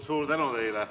Suur tänu teile!